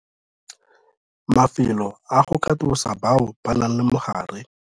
Mafelo a go katosa bao ba nang le mogare.